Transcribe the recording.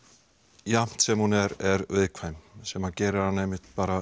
jafnt sem hún er viðkvæm sem gerir hana einmitt